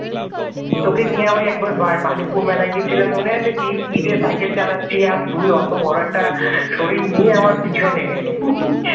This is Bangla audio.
তোকে নিয়ে ওই একবার বাণীপুর মেলায় গিয়েছিলাম মনে আছে গিয়ে speed সাইকেল চালাচ্ছি আর তুই অতো বড় একটা শরীর নিয়ে আমার পিছনে